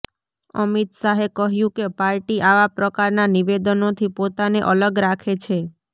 અમિત શાહે કહ્યું કે પાર્ટી આવા પ્રકારના નિવેદનોથી પોતાને અલગ રાખે છે